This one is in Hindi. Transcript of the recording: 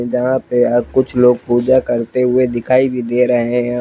यहां पे आप कुछ लोग पूजा करते हुए दिखाई भी दे रहे हैं।